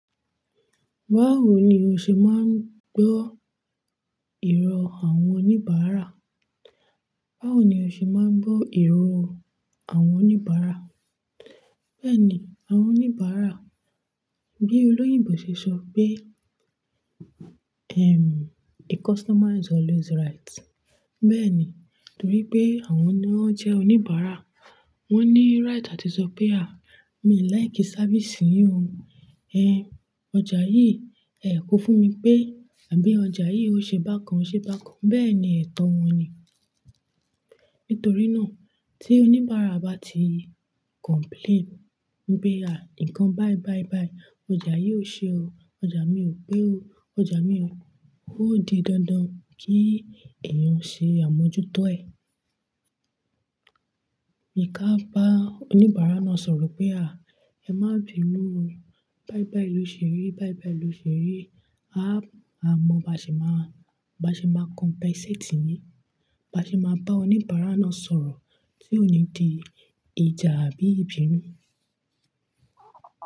Báwo ni o ṣe máa ń gbọ́ ìrọ̀ àwọn oníbàárà? Báwo ni o ṣe máa ń gbọ́ ìrọ̀ àwọn oníbàárà? Bẹ́ẹ̀ni, àwọn oníbàárà bí olóyìnbo ṣe sọ pé, "Ehm, a customer is always right." Bẹ́ẹ̀ni, torí pé àwọn ni wọn jẹ́ oníbàárà. Wọn ní right àti sọ pé, "À, mi ò like sáfísì yìí o. Ẹ, ọjà yìí, ẹ kọ fún mi pé àbí ọjà yìí ó ṣe bákan ṣe bákan." Bẹ́ẹ̀ ni ẹ̀tọ́ wọn ni. Nítorí náà, tí oníbàárà bá ti complain pé, "À, ǹkan báì báì báì, ọjà yìí ó ṣe o. Ọjà mi ò pé o. Ọjà mi ò "Ó di dandan kí èèyàn ṣe àmójútó ẹ̀. Bi kí a bá oníbàárà náà sọ̀rọ̀ pé, "À, ẹ má bíi inú ẹ. Báì báì ló ṣe rí. Báì báì ló ṣe rí. À, a mọ̀, bá ṣe máa, bá ṣe máa compensate yìn." Bá ṣe máa bá oníbàárà náà sọ̀rọ̀ tí ó ò ní di ìjà àbí ìbínú.